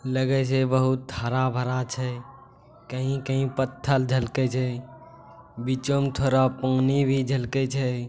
लगे छै बहुत हरा-भरा छै। कहीं-कहीं पत्थल झलके छै। बिचो म थोडा पानी भी झलकय छै।